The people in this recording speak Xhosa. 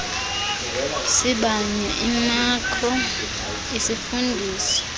sibanye imikro isifundisa